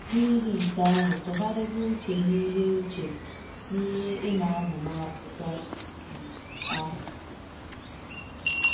N’ihi nke ahụ, tụgharịba uche n’ihe uche n’ihe ị na-amụ n’akwụkwọ um ahụ.